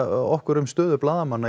okkur um stöðu blaðamanna